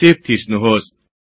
save थिच्नुहोस्